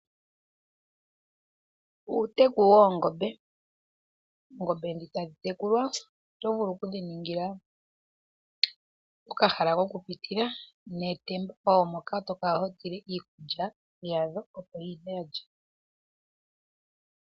Uuteku woongombe. Oongombe dhi tadhi tekulwa, oto vulu oku dhiningila okahala kokupitila, netemba moka to kala ho tula iikulya yadho opo dhi lye.